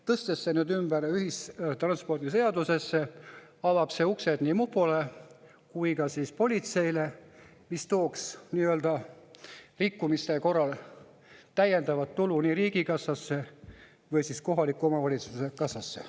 Tõstes selle nüüd ümber ühistranspordiseadusesse, avaks see uksed nii mupole kui ka politseile ja tooks rikkumiste korral täiendavat tulu riigikassasse või siis kohaliku omavalitsuse kassasse.